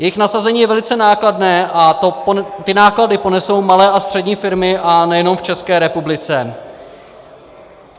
Jejich nasazení je velice nákladné a ty náklady ponesou malé a střední firmy, a nejenom v České republice.